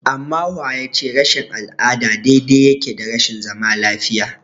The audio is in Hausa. Amma wa ya ce rashin al'ada daidai yake da rashin zaman lafiya?